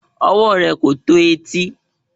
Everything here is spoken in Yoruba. Ọwọ́ rẹ̀ kò tó etí